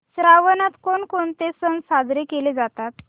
श्रावणात कोणकोणते सण साजरे केले जातात